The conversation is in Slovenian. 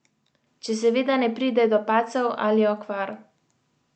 Če seveda ne pride do padcev ali okvar.